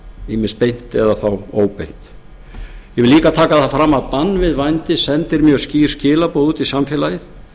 ýmist beint eða óbeint ég vil líka taka það fram að bann við sendir mjög skýr skilaboð út í samfélagið